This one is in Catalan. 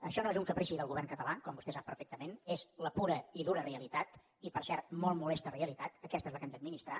això no és un caprici del govern català com vostè sap perfectament és la pura i dura realitat i per cert molt molesta realitat aquesta és la que hem d’administrar